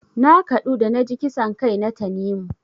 Na kaɗu da naji kisan kai na Tanimu.